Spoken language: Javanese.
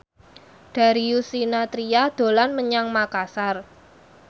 Darius Sinathrya dolan menyang Makasar